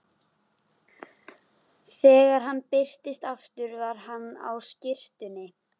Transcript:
Þegar hann birtist aftur var hann á skyrtunni.